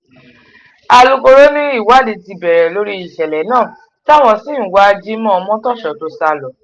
alūkọ̀rọ̀ ni ìwádìí ti bẹ̀rẹ̀ lórí ìṣẹ̀lẹ̀ náà táwọn sì ń wá jimoh omotoso tó sá lọ